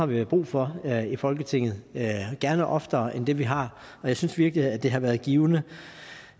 vi har brug for her i folketinget og gerne oftere end dem vi har jeg synes virkelig det har været givende